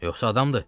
Yoxsa adamdır?